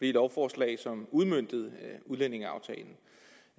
de lovforslag som udmøntede udlændingeaftalen